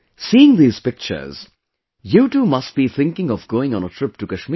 Seeing these pictures, you too must be thinking of going on a trip to Kashmir